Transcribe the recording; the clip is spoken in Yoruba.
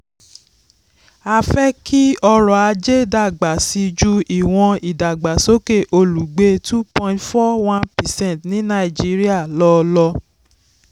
a fẹ́ kí ọrọ̀-ajé dàgbà síi ju ìwọn ìdàgbàsókè olùgbé two point four one percent ní nàìjíríà lọ. lọ.